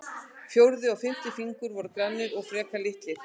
Fjórði og fimmti fingur voru grannir og frekar litlir.